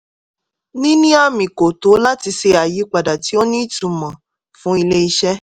níní àmì kò tó láti ṣe àyípadà tí ó ní ìtumò fún ilé-iṣẹ́.